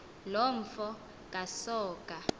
loo mfo kasoga